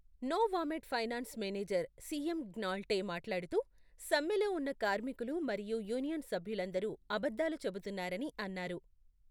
Novamed finance manager సిఎం గ్నాల్టే మాట్లాడుతూ, సమ్మెలో ఉన్న కార్మికులు మరియు యూనియన్ సభ్యులందరూ అబద్ధాలు చెబుతున్నారని అన్నారు.